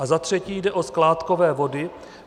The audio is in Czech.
A za třetí jde o skládkové vody.